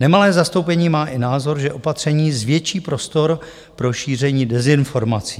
Nemalé zastoupení má i názor, že opatření zvětší prostor pro šíření dezinformací.